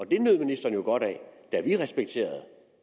det nød ministeren jo godt af da vi